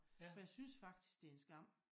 For jeg synes faktisk det en skam